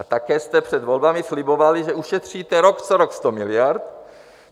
A také jste před volbami slibovali, že ušetříte rok co rok 100 miliard.